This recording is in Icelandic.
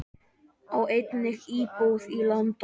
Á einnig íbúð í London.